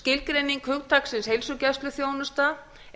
skilgreining hugtaksins heilsugæsluþjónusta